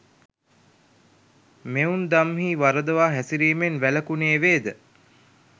මෙවුන්දම්හි වරදවා හැසිරීමෙන් වැළකුණේ වේද?